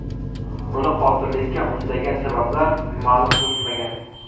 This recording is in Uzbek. Uni qotillikka undagan sabablar ma’lum qilinmagan.